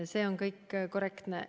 See kõik on korrektne.